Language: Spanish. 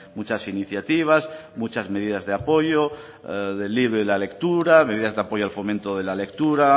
muchas iniciativas muchas medidas de apoyo del libro y la lectura medidas de apoyo al fomento de la lectura